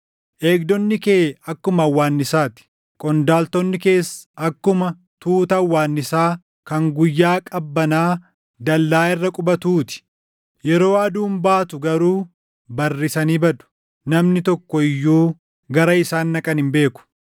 Eegdonni kee akkuma hawwaannisaa ti; qondaaltonni kees akkuma tuuta hawwaannisaa kan guyyaa qabbanaa dallaa irra qubatuu ti; yeroo aduun baatu garuu barrisanii badu; namni tokko iyyuu gara isaan dhaqan hin beeku.